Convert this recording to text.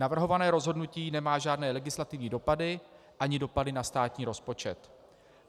Navrhované rozhodnutí nemá žádné legislativní dopady ani dopady na státní rozpočet.